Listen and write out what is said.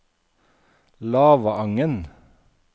Lavangen